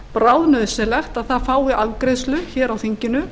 bráðnauðsynlegt að það fái afgreiðslu hér á þinginu